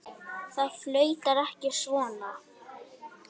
Það flautar ekki svona.